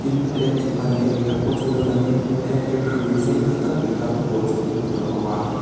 electric ban lian tak te pawh chu lo langin electric hrui sei tak tak inzam te pawh chu hmuh tur a awm a.